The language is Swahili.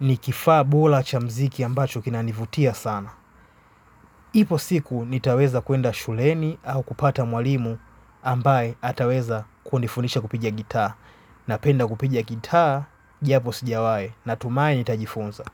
Ni kifaa bora cha muziki ambacho kinanivutia sana. Ipo siku nitaweza kwenda shuleni au kupata mwalimu ambaye ataweza kundifunisha kupigia gitaa. Napenda kupiga gitaa japo sijawahi na tumai nitajifunza.